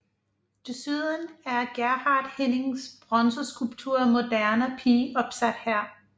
Desuden er Gerhard Hennings bronzeskulptur Moderne pige opsat her